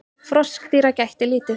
Froskdýra gætti lítið.